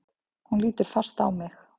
Hún lítur fast á mig.